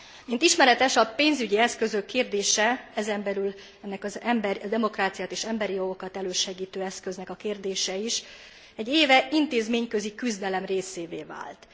Mint ismeretes, a pénzügyi eszközök kérdése, ezen belül ennek a demokráciát és emberi jogokat elősegítő eszköznek a kérdése is, egy éve intézményközi küzdelem részévé vált.